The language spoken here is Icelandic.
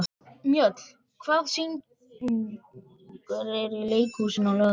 Mjöll, hvaða sýningar eru í leikhúsinu á laugardaginn?